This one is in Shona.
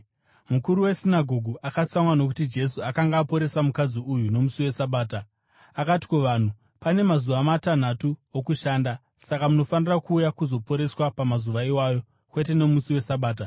Mukuru wesinagoge akatsamwa nokuti Jesu akanga aporesa mukadzi uyu nomusi weSabata, akati kuvanhu, “Pane mazuva matanhatu okushanda. Saka munofanira kuuya kuzoporeswa pamazuva iwayo, kwete nomusi weSabata.”